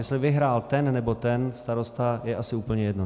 Jestli vyhrál ten nebo ten starosta, je asi úplně jedno.